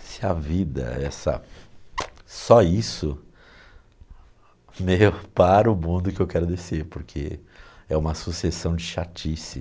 se a vida essa, só isso, meu, para o mundo que eu quero descer, porque é uma sucessão de chatice.